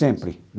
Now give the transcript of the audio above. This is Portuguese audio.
Sempre.